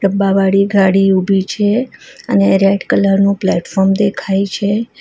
ડબ્બા વાળી ગાડી ઊભી છે અને રેડ કલર નું પ્લેટફોર્મ દેખાય છે.